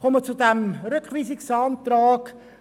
Ich spreche nun zum Rückweisungsantrag.